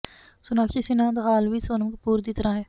ਸੋਨਾਕਸ਼ੀ ਸਿੰਨਹਾ ਦਾ ਹਾਲ ਵੀ ਸੋਨਮ ਕਪੂਰ ਦੀ ਤਰ੍ਹਾਂ ਹੈ